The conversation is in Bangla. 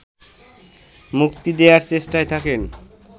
মুক্তি দেয়ার চেষ্টায় থাকেন